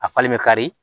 A falen bɛ kari